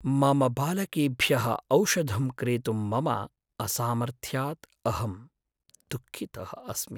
मम बालकेभ्यः औषधं क्रेतुं मम असामर्थ्यात् अहं दुःखितः अस्मि।